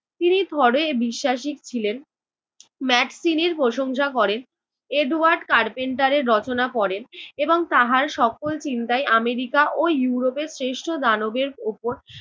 তিনি থরে বিশ্বাসী ছিলেন, ম্যাকসিনির প্রশংসা করেন, এডওয়ার্ড কার্পেন্টারের রচনা পড়েন এবং তাহার সকল চিন্তাই আমেরিকা ও ইউরোপের শ্রেষ্ঠ দানবের উপর